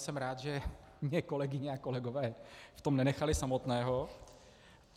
Jsem rád, že mě kolegyně a kolegové v tom nenechali samotného.